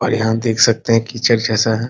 और यहाँ देख सकते हैं की चर्च जैसा है ।